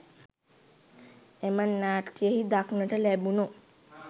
එම නාට්‍යයන්හි දක්නට ලැබුණු